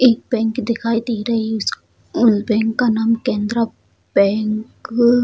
एक बैंक दिखाई दे रही है उस बैंक का नाम केनरा बैंक --